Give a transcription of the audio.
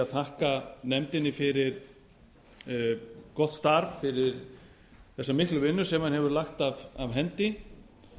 að þakka nefndinni fyrir gott starf fyrir þessa miklu vinnu sem hún hefur lagt af hendi